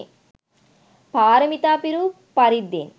පාරමිතා පිරූ පරිද්දෙන්